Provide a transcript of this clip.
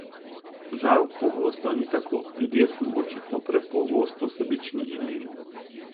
Žal pogosto ni tako, ljudje smo očitno prepogosto sebični in leni.